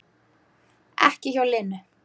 Ekki hjá Lenu